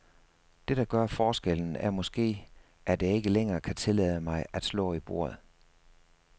Det, der gør forskellen, er måske, at jeg ikke længere kan tillade mig at slå i bordet.